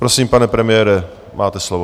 Prosím, pane premiére, máte slovo.